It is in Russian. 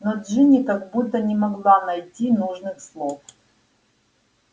но джинни как будто не могла найти нужных слов